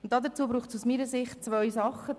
Und dazu braucht es aus meiner Sicht zweierlei: